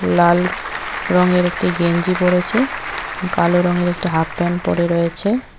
লাল রঙের একটি গেঞ্জি পরেছে কালো রংয়ের একটি হাফ প্যান্ট পরে রয়েছে।